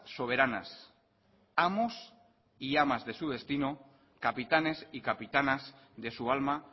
soberanas amos y amas de su destino capitanes y capitanas de su alma